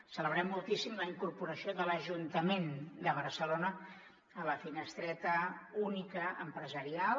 celebrem moltíssim la incorporació de l’ajuntament de barcelona a la finestreta única empresarial